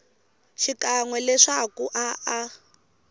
xikan we leswaku a a